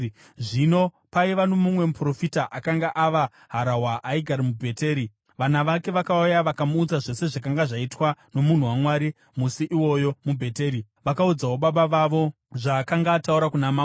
Zvino paiva nomumwe muprofita akanga ava harahwa aigara muBheteri, vana vake vakauya vakamuudza zvose zvakanga zvaitwa nomunhu waMwari musi iwoyo muBheteri. Vakaudzawo baba vavo zvaakanga ataura kuna mambo.